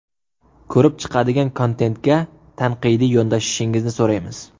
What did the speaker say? Ko‘rib chiqadigan kontentga tanqidiy yondashishingizni so‘raymiz.